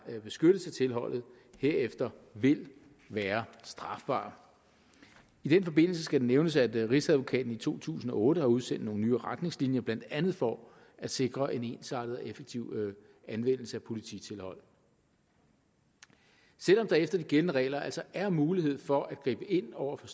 beskyttes af tilholdet herefter vil være strafbare i den forbindelse skal det nævnes at rigsadvokaten i to tusind og otte har udsendt nogle nye retningslinjer blandt andet for at sikre en ensartet og effektiv anvendelse af polititilhold selv om der efter de gældende regler altså er mulighed for at gribe ind over for